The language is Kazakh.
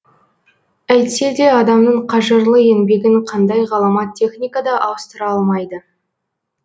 әйтсе де адамның қажырлы еңбегін қандай ғаламат техника да ауыстыра алмайды